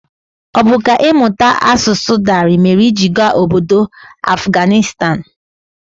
Ọ bu sọ kà ịmụta asụsụ Dari mèrè iji gaa ọbọdọ Afganistan?